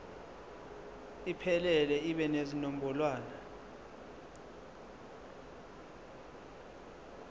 iphelele ibe nezinombolwana